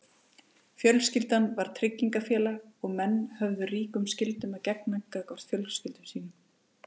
fjölskyldan var tryggingafélag og menn höfðu ríkum skyldum að gegna gagnvart fjölskyldum sínum